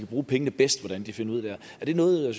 bruge pengene bedst der er det noget